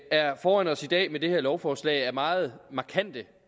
er foran os i dag med det her lovforslag er meget markante